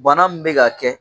Bana min bɛ ka kɛ